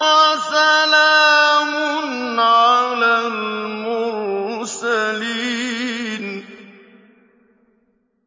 وَسَلَامٌ عَلَى الْمُرْسَلِينَ